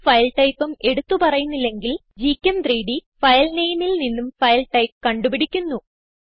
ഒരു ഫൈൽ typeഉം എടുത്ത് പറയുന്നില്ലെങ്കിൽ gchem3ഡ് ഫയൽ നെയിമിൽ നിന്നും ഫൈൽ ടൈപ്പ് കണ്ടുപിടിക്കുന്നു